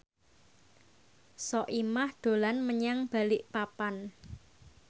Soimah dolan menyang Balikpapan